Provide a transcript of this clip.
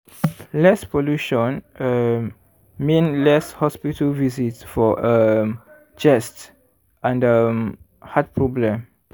less pollution um mean less hospital visit for um chest and um heart problem.